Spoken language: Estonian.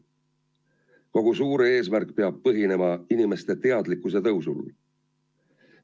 Kogu suur eesmärk peab põhinema inimeste teadlikkuse tõusul.